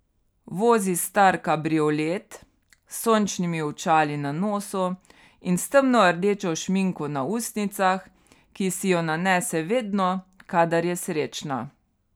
Vozi star kabriolet, s sončnimi očali na nosu in s temnordečo šminko na ustnicah, ki si jo nanese vedno, kadar je srečna.